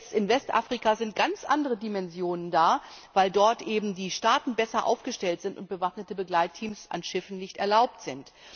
Jetzt in Westafrika sind ganz andere Dimensionen da, weil dort eben die Staaten besser aufgestellt sind und bewaffnete Begleitteams an Schiffen nicht erlaubt sind.